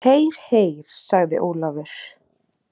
Heyr, heyr sagði Ólafur.